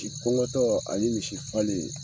Ki kɔŋɔtɔɔ ani misi falen